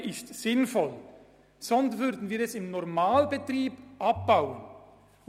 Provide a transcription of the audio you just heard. Wenn etwas nicht sinnvoll wäre, würden wir es im Rahmen des Normalbetriebs abbauen.